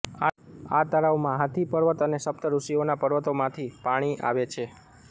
આ તળાવમાં હાથી પર્વત અને સપ્ત ઋષિઓના પર્વતોમાંથી પાણી આવે છે